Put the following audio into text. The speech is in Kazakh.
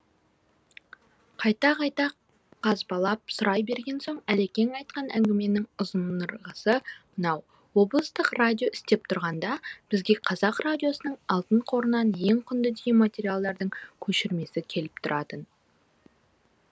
қайта қайта қазбалап сұрай берген соң әлекең айтқан әңгіменің ұзынырғасы мынау облыстық радио істеп тұрғанда бізге қазақ радиосының алтын қорынан ең құнды деген материалдардың көшірмесі келіп тұратын